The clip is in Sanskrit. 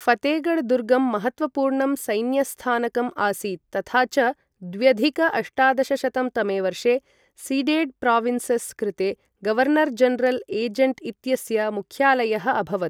ऴतेगढ दुर्गं महत्त्वपूर्णं सैन्यस्थानकम् आसीत् तथा च द्व्यधिक अष्टादशशतं तमे वर्षे सीडेड् प्राविन्सस् कृते गवर्नर् जनरल् एजेण्ट् इत्यस्य मुख्यालयः अभवत्।